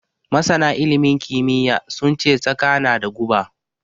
Masana ilimin kimiyya sun ce Tsaka na da guba.